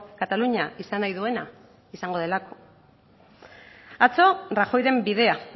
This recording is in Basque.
katalunia izan nahi duena izango delako atzo rajoyren bidea